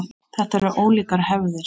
Þetta eru ólíkar hefðir.